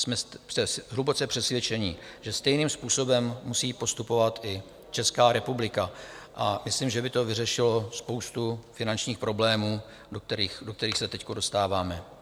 Jsme hluboce přesvědčeni, že stejným způsobem musí postupovat i Česká republika, a myslím, že by to vyřešilo spoustu finančních problémů, do kterých se teď dostáváme.